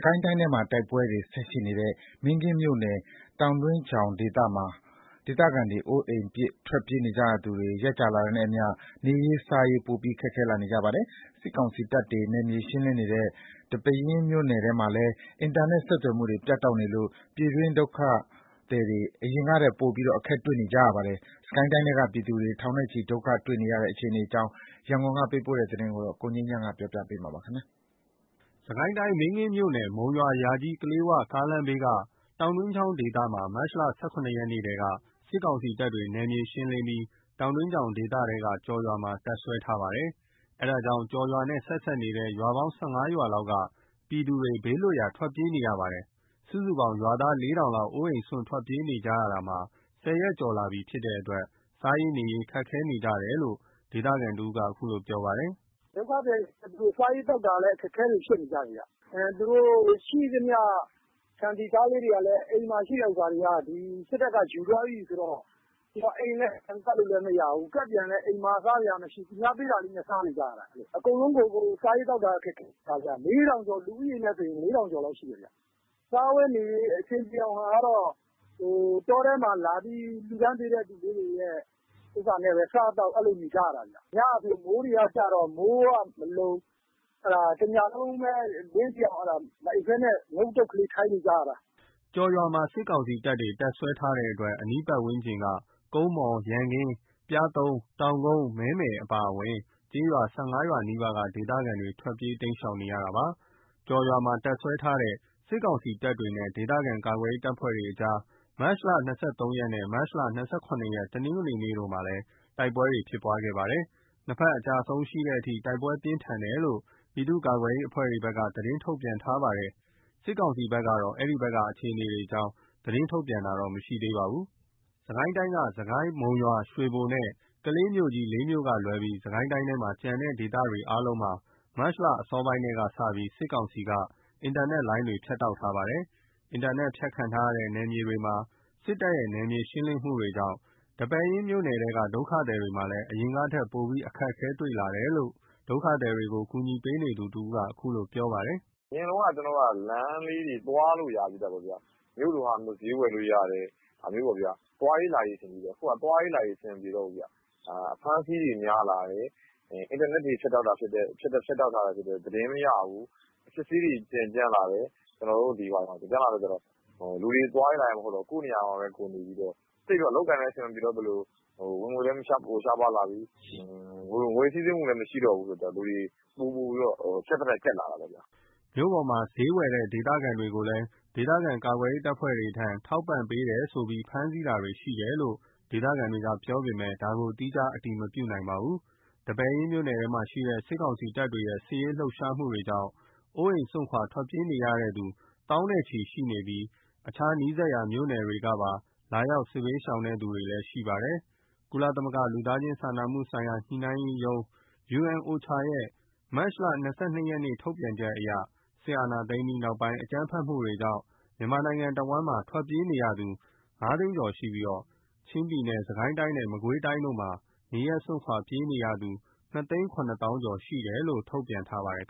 ကိုင်းတိုင်းထဲမှာ တိုက်ပွဲတွေဆက်ရှိနေတဲ့ မင်းကင်းမြို့နယ် တောင်တွင်းချောင်ဒေသမှာ အိုးအိမ်ပစ် ထွက်ပြေးနေကြရသူတွေ ရက်ကြာလာတာနဲ့အမျှ နေရေး စားရေး ပိုပြီးခက်ခဲနေကြပါတယ်။ စစ်ကောင်စီတပ်တွေ နယ်မြေရှင်းလင်းနေတဲ့ ဒီပဲယင်း မြို့နယ်ထဲမှာလည်း အင်တာနက်ဆက်သွယ်မှုတွေ ပြတ်တောက်နေလို့ ပြည်တွင်း ဒုက္ခသည်တွေ အရင်ကထက် ပိုပြီးအခက်တွေ့နေပါတယ်။ စစ်ကိုင်းတိုင်းထဲက ပြည်သူ ထောင်နဲ့ချီ ဒုက္ခတွေ့နေတဲ့ အခြေအနေအကြောင်း ရန်ကုန်က ပေးပို့လာတဲ့သတင်းကို ကိုငြိမ်းချမ်းက တင်ပြပေးထားပါတယ်။ စစ်ကိုင်းတိုင်း မင်းကင်းမြို့နယ် မုံရွာ - ယာကြီး - ကလေးဝ ကားလမ်းဘေးက တောင်တွင်းချောင်ဒေသမှာ မတ်လ ၁၇ ရက်နေ့ထဲက စစ်ကောင်စီတပ်တွေ နယ်မြေရှင်းလင်းပြီး တောင်တွင်းချောင်ဒေသထဲက ကျော်ရွာမှာတပ်စွဲထားပါတယ်။ အဲဒါကြောင့် ကျော်ရွာနဲ့ ဆက်နေတဲ့ ရွာပေါင်း ၁၅ ရွာလောက်က ပြည်သူ ဘေးလွတ်ရာ ထွက်ပြေးနေကြရပါတယ်။ စုစုပေါင်း ရွာသား ၄ ထောင်လောက် အိုးအိမ်းစွန့် ထွက်ပြေးနေကြရတာ ၁၀ ရက်ကျော်လာပြီဖြစ်တဲ့အတွက် စားရေး နေရေး ခက်ခဲနေကြတယ်လို့ ဒေသခံတဦးက အခုလိုပြောပါတယ်။ “ဒုက္ခသည်တွေက စားရေးသောက်တာတွေ အခက်အခဲတွေဖြစ်နေကြတယ်။ သူတို့ရှိသမျှ ဆန် ဆီ ဆားလေးတွေကလည်း အိမ်မှာရှိတဲ့ဟာတွေကလည်း စစ်တပ်က ယူသွားပြီဆိုတော့ အိမ်လည်း ပြန်ကပ်လို့လည်းမရဘူး။ ကပ်ပြန်ရင်လည်း အိမ်မှာ စားစရာမရှိ သူများပေးတာလေးနဲ့ စားနေကြရတာ။ အကုန်လုံးကို စားရေးသောက် တာ အခက်အခဲဖြစ်နေတာ။ လူဦးရေနဲ့ဆို ၄ ထောင်ကျော်လောက်ရှိမယ်။ စားဝတ်နေရေး အဆင်ပြေအောင်ကတော့ တောထဲမှာလာပြီးလှူတဲ့ဟာလေးတွေနဲ့ပဲ စားသောက်နေကြရတာ။ ညကဆို မိုးကကျတော့ မိုးတွေကမလုံ တညလုံးပဲ မအိပ်ဘဲ အလင်းထိအောင် ထိုင်နေကြရတာ။” ကျော်ရွာမှာ စစ်ကောင်စီတပ်တွေ တပ်စွဲထားတဲ့အတွက် အနီးပတ်ဝန်းကျင်က ကုန်းမော် ၊ ရန်ကင်း ၊ ပျားသုံး ၊ တောင်ကုန်း ၊ မဲမယ် အပါအဝင် ကျေးရွာ ၁၅ ရွာနီးပါးက ဒေသခံတွေက ထွက်ပြေးတိမ်းရှောင်နေရတာပါ။ ကျော်ရွာမှာ တပ်စွဲထားတဲ့ စစ်ကောင်စီတပ်တွေနဲ့ ဒေသခံကာကွယ်ရေး တပ်ဖွဲ့တွေကြားမှာလည်း မတ်လ ၂၃ ရက်နဲ့ မတ်လ ၂၇ ရက် တနင်္ဂနွေနေ့တို့မှာ တိုက်ပွဲတွေရှိခဲ့ပါတယ်။ ၂ ဖက် အကျအဆုံးရှိတဲ့အထိ တိုက်ပွဲပြင်းထန်တယ်လို့ ပြည်သူ့ကာကွယ်ရေးအဖွဲ့တွေဘက်က သတင်းထုတ်ပြန်ထားပါတယ်။ စစ်ကောင်စီဘက်ကတော့ အဲဒီဘက်ကအခြေအနေအကြောင်း သတင်းထုတ်ပြန်တာတော့မရှိသေးပါဘူး။ စစ်ကိုင်းတိုင်းက စစ်ကိုင်း၊ မုံရွာ ရွှေဘိုနဲ့ ကလေးမြို့ကြီး ၄ မြို့ကလွဲပြီး စစ်ကိုင်းတိုင်းထဲက ကျန်တဲ့ ဒေသတွေအားလုံးမှာ မတ်လ အစောပိုင်းထဲကစပြီး စစ်ကောင်စီက အင်တာနက်တွေလိုင်းတွေ ဖြတ်တောက်ထားပါတယ်။ အင်တာနက်ဖြတ်ခံထားရတဲ့ နယ်မြေတွေမှာ စစ်တပ်ရဲ့ နယ်မြေရှင်းလင်းမှုတွေကြောင့် ဒီပဲယင်းမြို့နယ်ထဲက ဒုက္ခသည်တွေမှာလည်း အရင်ကထက် ပိုပြီး အခက်တွေ့လာတယ်လို့ ဒုက္ခသည်တွေကို ကူညီပေးနေသူ တဦးက အခုလိုပြောပါတယ်။ “အရင်တုန်းက လမ်းလေးတွေ သွားလို့ရသေးတာပေါ့နော်။ မြို့လို့ဟာမျိုး ဈေးဝယ်လို့ရတယ်။ သွားရေးလာရေးပေါ့။ အခုက သွားရေးလာရေး အဆင်မပြေတော့ဘူး။ အဖမ်းအဆီးတွေ များလာတယ်။ အင်တာနက်တွေဖြတ်တောက်ထားတာ ဖြစ်တဲ့အတွက် သတင်းမရဘူး။ အစစ်အဆေးတွေကြမ်းလာတယ်။ လူတွေက သွားလို့လာလို့ မရတော့ဘဲ ကိုယ့်နေရာမှာပဲ ကိုယ်နေပြီးတော့ အလုပ်အကိုင်လည်း အဆင်မပြေတော့သလို ဝင်ငွေလည်းရှားပါးလာပြီး ငွေစီးဆင်းမှုမရှိတော့ဘူး။ ပိုပြီး ကြပ်သထက် ကြပ်လာတာပေါ့။” မြို့ပေါ်မှာ ဈေးတက်ဝယ်တဲ့ ဒေသခံတွေကို ဒေသခံကာကွယ်ရေး တပ်ဖွဲ့တွေထံ ထောက်ပံ့ပေးတယ်ဆိုပြီး ဖမ်းဆီးတာတွေရှိတယ်လို့ ဒေသခံတွေက ပြောပေမယ့် ဒါကိုတော့ သီးခြား အတည်မပြုနိုင်ပါဘူး။ ဒီပဲယင်းမြို့နယ်ထဲမှာ စစ်ကောင်စီတပ်တွေရဲ့ စစ်ရေးလှုပ်ရှားမှုတွေကြောင့် အိုးအိမ်စွန့် ထွက်ပြေးနေကြရသူတွေ သောင်းနဲ့ချီရှိပြီး အခြား နီးစပ်ရာ မြို့နယ်တွေကပါ လာရောက် စစ်ဘေးရှောင်သူတွေ ရှိပါတယ်။ ကုလသမဂ္ဂ လူသားချင်း စာနာမှုဆိုင်ရာ ညှိနှိုင်းရေးရုံး (OCHA) ရဲ့ မတ် ၂၂ ရက်က ထုတ်ပြန်ချက်အရ စစ်တပ်အာဏာသိမ်းပြီးနောက်ပိုင်း အကြမ်းဖက်တွေကြောင့် မြန်မာနိုင်ငံ တဝှမ်းလုံးမှာထွက်ပြေးနေရသူ ၅ သိန်းကျော်ရှိပြီး ချင်းပြည်နယ်၊ စစ်ကိုင်းတိုင်းနဲ့ မကွေးတိုင်းတို့မှာ နေရပ်စွန့်ခွါထွက်ပြေးသူ ၂ သိန်း ၇ သောင်းကျော် (၂ ၇၂,၉၀၀) ရှိတယ်လို့ ထုတ်ပြန်ထားပါတယ်